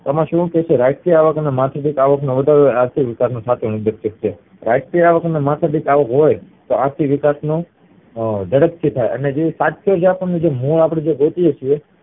એમાં શું કે છે રાષ્ટ્રીયઆવક અને માથાદીઠ અવાક એ આર્થિક વિકાશ નો સાચો ઉદેશક છે રાષ્ટ્રીય આવક અને માથાદીઠ અવાક હોય તો આર્થિક વિકાસ ઝડપથી થાય અને અપડે જે ગોતીયે છીએ